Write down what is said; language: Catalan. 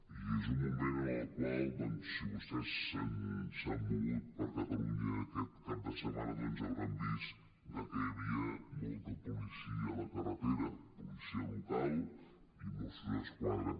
i és un moment en el qual doncs si vostès s’han mogut per catalunya aquest cap de setmana doncs deuen haver vist que hi havia molta policia a la carretera policia local i mossos d’esquadra